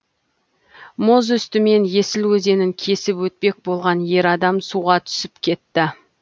мұз үстімен есіл өзенін кесіп өтпек болған ер адам суға түсіп кетті